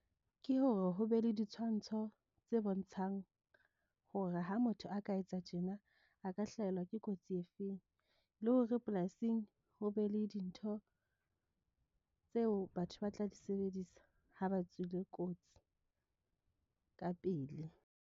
Ke hore ho be le ditshwantsho tse bontshang hore ha motho a ka etsa tjena a ka hlahelwa ke kotsi e feng, le hore polasing ho be le dintho, tseo batho ba tla di sebedisa ha ba tswile kotsi ka pele.